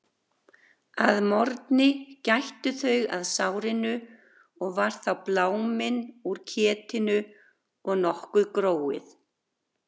Að morgni gættu þau að sárinu og var þá bláminn úr ketinu og nokkuð gróið.